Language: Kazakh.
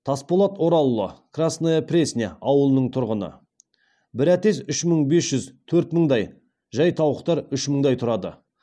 тасболат оралұлы красная пресня ауылының тұрғыны бір әтеш үш мың бес жүз төрт мыңдай жай тауықтар үш мыңдай тұрады